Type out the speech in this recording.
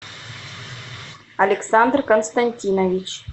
александр константинович